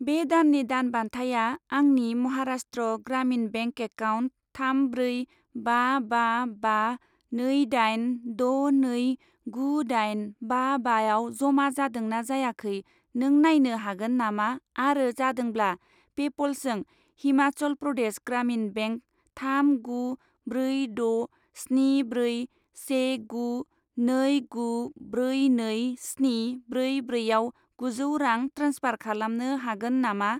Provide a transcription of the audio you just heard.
बे दाननि दान बान्थाया आंनि महाराष्ट्र ग्रामिन बेंक एकाउन्ट थाम ब्रै बा बा बा नै दाइन द' नै गु दाइन बा बाआव जमा जादोंना जायाखै नों नायनो हागोन नामा, आरो जादोंब्ला, पेप'लजों हिमाचल प्रदेश ग्रामिन बेंक थाम गु ब्रै द' स्नि ब्रै से गु नै गु ब्रै नै स्नि ब्रै ब्रैआव गुजौ रां ट्रेन्सफार खालामनो हागोन नामा?